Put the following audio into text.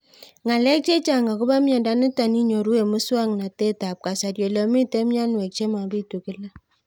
Ng'alek chechang' akopo miondo nitok inyoru eng' muswog'natet ab kasari ole mito mianwek che mapitu kila